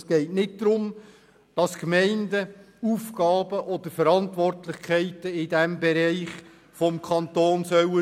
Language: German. Es geht nicht darum, dass die Gemeinden Aufgaben oder Verantwortlichkeiten in diesem Bereich vom Kanton übernehmen sollen.